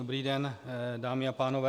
Dobrý den, dámy a pánové.